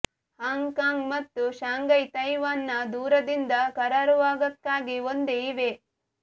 ಹಾಂಗ್ Kong ಮತ್ತು Shanghai Taiwan ನ ದೂರದಿಂದ ಕರಾರುವಾಕ್ಕಾಗಿ ಒಂದೇ ಇವೆ